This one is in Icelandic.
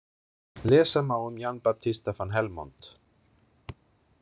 Lesa má um Jan Babtista van Helmont.